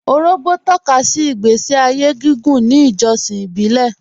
Òrògbó tọ̀kàsí ìgbèsí ayé gígùn ní ìjọ̀ṣìn ìbílẹ̀